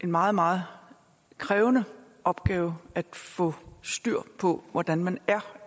meget meget krævende opgave at få styr på hvordan man er